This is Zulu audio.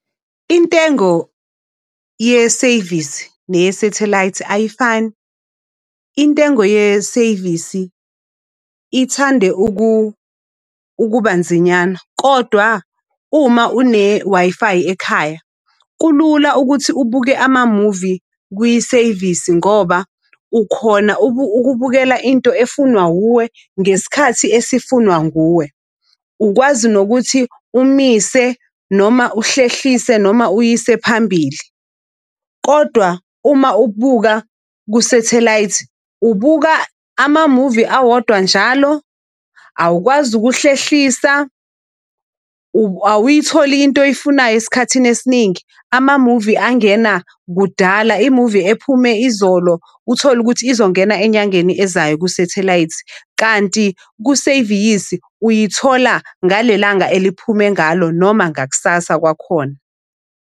Intengo yeseyivisi neyesethelayithi ayifani. Intengo yeseyivisi ithande ukubanzinyana, kodwa uma une-Wi-Fi ekhaya, kulula ukuthi ubuke amamuvi kwiseyivisi ngoba ukhona ukubukela into efunwa wuwe ngesikhathi esifunwa nguwe. Ukwazi nokuthi umise noma uhlehlise noma uyise phambili. Kodwa uma ukubuka kusethelayithi ubuka amamuvi awodwa njalo, awukwazi ukuhlehlisa, awuyitholi into oyifunayo esikhathini esiningi. Amamuvi angena kudala, imuvi ephume izolo uthole ukuthi izongena enyangeni ezayo kusethelayithi. Kanti kuseviyisi uyithola ngalelanga eliphuma ngalo noma ngakusasa kwakhona.